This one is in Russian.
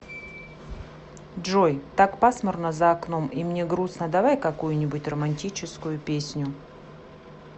джой так пасмурно за окном и мне грустно давай какую нибудь романтическую песню